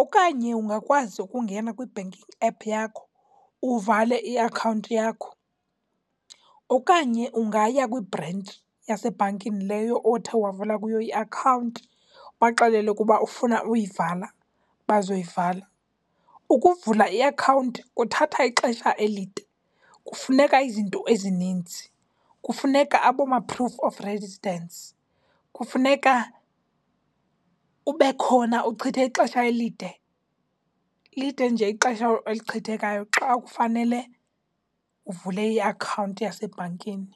Okanye ungakwazi ukungena kwi-banking app yakho uvale iakhawunti yakho. Okanye ungaya kwibhrentshi yasebhankini leyo othe wavula kuyo iakhawunti, ubaxelele ukuba ufuna uyivala, bazoyivala. Ukuvula iakhawunti kuthatha ixesha elide. Kufuneka izinto ezininzi. Kufuneka abooma-proof of residence, kufuneka ube khona, uchithe ixesha elide, lide nje ixesha olichithekayo xa kufanele uvule iakhawunti yasebhankini.